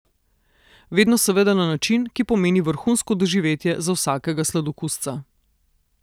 Vedno seveda na način, ki pomeni vrhunsko doživetje za vsakega sladokusca.